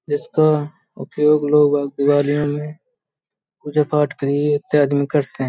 जिसका उपयोग लोग पूजा पाठ के लिए करते हैं |